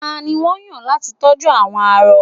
tani won yan lati tọju àwọn arọ